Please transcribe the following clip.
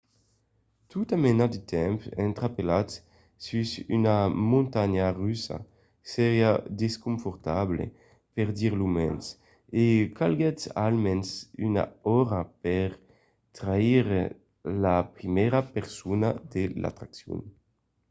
tota mena de temps entrapelat sus una montanha russa seriá desconfortable per dire lo mens e calguèt almens una ora per traire la primièra persona de l'atraccion.